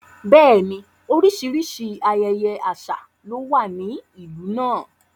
Bẹ́ẹ̀ni, oríṣiríṣi ayẹyẹ àṣà ló wà ní ìlú náà.